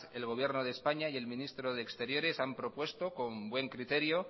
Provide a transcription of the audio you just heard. el gobierno de españa y el ministro de exteriores han propuesto con buen criterio